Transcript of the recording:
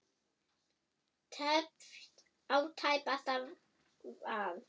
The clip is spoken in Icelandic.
Teflt á tæpasta vað.